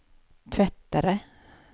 tvättare